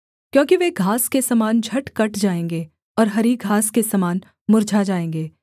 क्योंकि वे घास के समान झट कट जाएँगे और हरी घास के समान मुर्झा जाएँगे